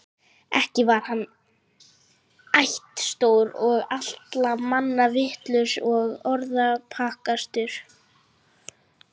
Ekki var hann ættstór og allra manna vitrastur og orðspakastur.